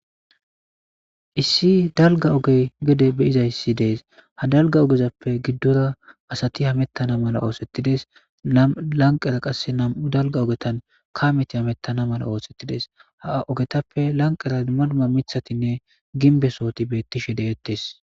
Issi dalga ogey gede be'izayssi de'es ha dalga ogezappe giddora asaati hametana mala oothetides nam'u lanqera qassi nam'u dalga ogetan kaameti hametana mala oothetides ha ogetappe lanqera dumma dumma miththatinne ginbe sohoti beetishe de'etees.